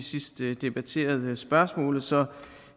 sidst vi debatterede spørgsmålet så